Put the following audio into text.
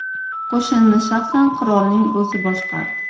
Qo‘shinni shaxsan qirolning o‘zi boshqardi.